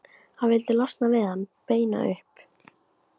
Hann vildi losna við hann, beina upp